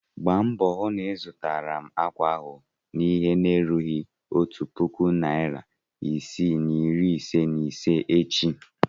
Gba mbo hụ na ịzụtara m akwa ahụ n'ihe na-erughị otu puku naịra isii na iri ise na ise echi!